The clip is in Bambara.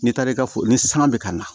N'i taara i ka foro ni sanga bɛ ka na